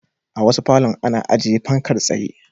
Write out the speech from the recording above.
A wasu falon ana ajiye fankar tsaye.